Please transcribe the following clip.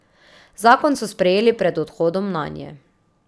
Zakon so sprejeli pred odhodom nanje.